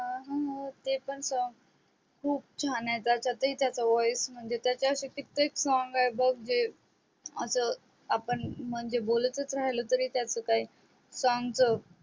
लगा हू ते पण song खूप छान आहे त्याच्यात ही त्याचा voice म्हणजे त्याचे असे कितीतरी song आहेत बघ जे आपण म्हणजे आस बोलतच राहिलो तरी त्याच काही song च